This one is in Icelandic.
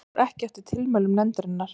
Fór ekki að tilmælum nefndarinnar